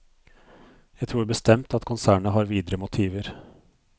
Jeg tror bestemt at konsernet har videre motiver.